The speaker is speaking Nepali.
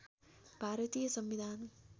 भारतीय संविधान